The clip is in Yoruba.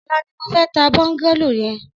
Ọlà ni mó fè tà bọngàló yèn